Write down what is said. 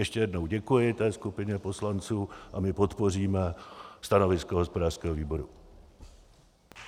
Ještě jednou děkuji té skupině poslanců a my podpoříme stanovisko hospodářského výboru.